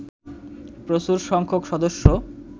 প্রচুর সংখ্যক সদস্য